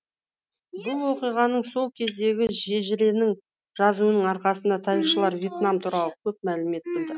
бұл оқиғаның сол кездегі шежіренің жазуының арқасына тарихшылар вьетнам туралы көп мәлімет білді